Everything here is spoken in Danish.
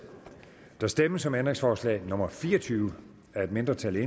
der stemmes om ændringsforslag nummer fire og tyve af et mindretal